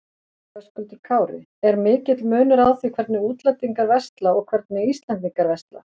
Höskuldur Kári: Er mikill munur á því hvernig útlendingar versla og hvernig Íslendingar versla?